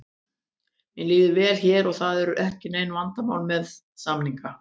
Mér líður vel hér og það eru ekki nein vandamál með samninga.